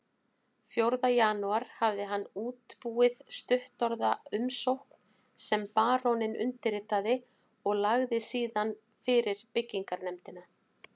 Fjórða janúar hafði hann útbúið stuttorða umsókn sem baróninn undirritaði og lagði síðan fyrir byggingarnefndina